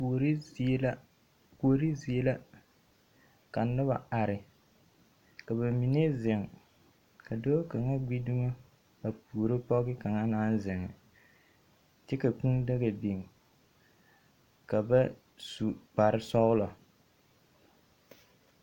Kuori zie la, kuorir zie la. Ka noba are, ka ba mine zeŋ ka dɔɔ kaŋa gbi dumo a puoro pɔge kaŋa naŋ zeŋ. kyɛ ka kũũ daga biŋ ka bas u kpare sɔgelɔ.